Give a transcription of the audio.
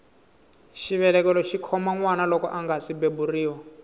xivelekelo xikhoma nwana loko angasi beburiwa